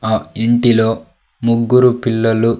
ఆ ఇంటిలో ముగ్గురు పిల్లలు--